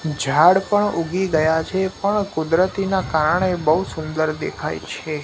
ઝાડ પણ ઊઘી ગયા છે પણ કુદરતીના કારણે બઉ સુંદર દેખાય છે.